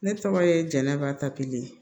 Ne tɔgɔ ye jɛnɛba tapilen